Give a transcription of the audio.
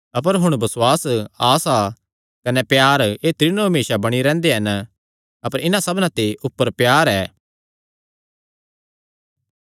अपर हुण बसुआस आसा कने प्यार एह़ त्रीनो हमेसा बणी रैंह्दे हन अपर इन्हां सबना ते ऊपर प्यार ऐ